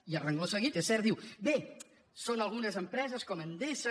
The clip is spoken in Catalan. i tot seguit és cert diu bé són algunes empreses com endesa